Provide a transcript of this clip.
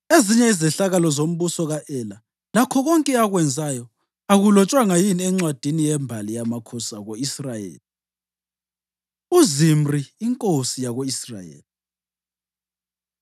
Ezinye izehlakalo ngombuso ka-Ela, lakho konke akwenzayo, akulotshwanga yini encwadini yembali yamakhosi ako-Israyeli? UZimri Inkosi Yako-Israyeli